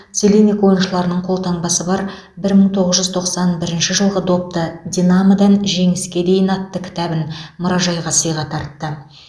целинник ойыншыларының қолтаңбасы бар мың тоғыз жүз тоқсан бірінші жылғы допты динамодан жеңіске дейін атты кітабын мұражайға сыйға тартты